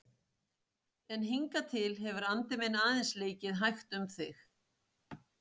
En hingað til hefur andi minn aðeins leikið hægt um þig.